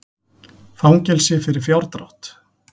Fangelsi fyrir fjárdrátt